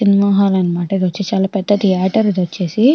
Cinema hall అన్నమాట ఇది వచ్చేసి చాలా పేద తీయేటెర్ ఇది వచ్చేసి చాలా.